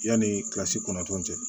Yanni kilasi kɔnɔntɔn cɛ